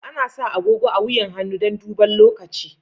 Ana sa agogo a wuyan hannu dan daban lokaci.